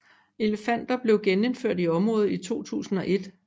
Elefanter blev genindført i området i 2001